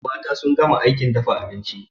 Mata sun gama aikin dafa abinci